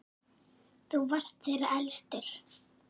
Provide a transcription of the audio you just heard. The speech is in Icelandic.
Þú varst þeirra elstur.